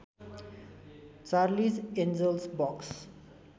Charlize Angels box